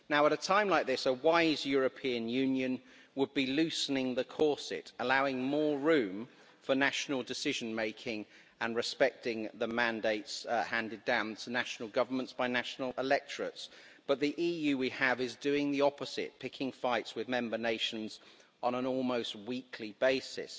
At a time like this, a wise European Union would be loosening the corset, allowing more room for national decision making and respecting the mandates handed down to national governments by national electorates, but the EU we have is doing the opposite, picking fights with member nations on an almost weekly basis.